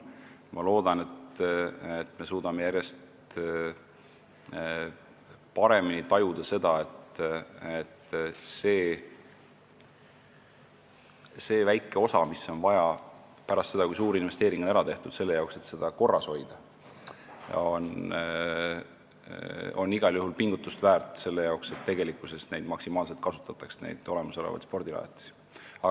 Ma loodan, et me suudame järjest paremini tajuda, et pärast seda, kui suur investeering on ära tehtud, selleks et neid spordirajatisi korras hoida, on see väike osa, et neid olemasolevaid rajatisi ka maksimaalselt kasutataks, igal juhul pingutust väärt.